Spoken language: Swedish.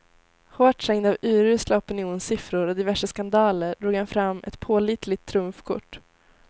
Hårt trängd av urusla opinionssiffror och diverse skandaler drog han fram ett pålitligt trumfkort.